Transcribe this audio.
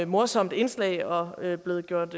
morsomt indslag og er blevet gjort